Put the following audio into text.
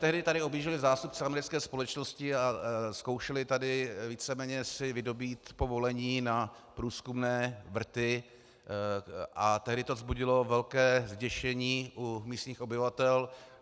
Tehdy tady objížděli zástupci americké společnosti a zkoušeli tady víceméně si vydobýt povolení na průzkumné vrty a tehdy to vzbudilo velké zděšení u místních obyvatel.